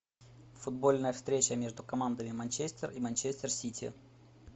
футбольная встреча между командами манчестер и манчестер сити